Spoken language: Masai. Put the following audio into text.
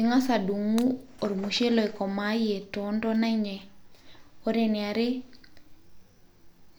ing'as adung'u ormushele oikomaayie toontona enye ore eniare